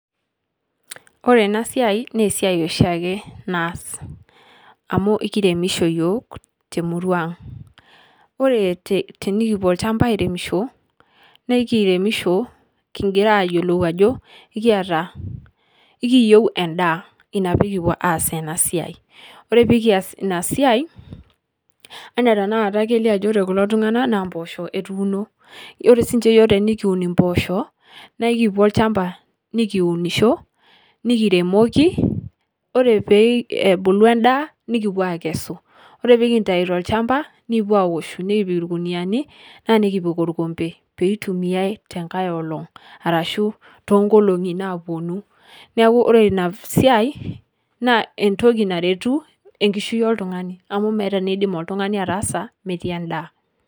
Ore ena siai naa esiai oshiake naas, amuu ekiremisho yiook temurua ang , ore tenikipuo olchamba airemesho naa ekiremisho kingira aayiolou ajo ekiyata, ekiyieu endaa ina pee kipuo aas ena siai, ore pee kiyas ina siai anaa ketanakata kelio ajo ore kulo tungana naa mpoosho etuuno, ore sii ninche yiok tinikiun impoosho naa ekipuo olchamba nikiunisho, nikiremoki ore pee ebulu endaaa nikipeu aikesu, ore pee kintayu tolchamba nikipuo aaoshu nikipik ilkuniani naa nikipik olkombe pee eitumiyai tenkae olong arashu too nkolongi naapuonu, neeku ore ina siai naa entoki naretu enkishon oltungani amu meeta entoki nindim oltungani ataasa metii endaa.